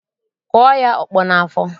Kụọ ya ọkpọ n'afọ!